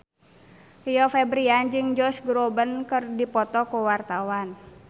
Rio Febrian jeung Josh Groban keur dipoto ku wartawan